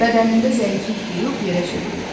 Bədənində zəiflik duyub yerə çöktü.